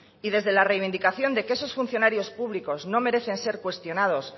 y desde la reivindicación de que esos funcionarios públicos no merecen ser cuestionados